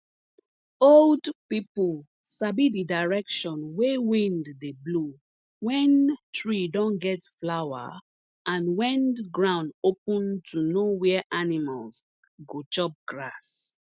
old pipu sabi di direction wey wind dey blow wen tree don get flower and wen ground open to know where animals go chop grass